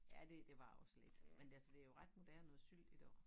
Ja det det var også lidt men altså det jo ret moderne at sylte i dag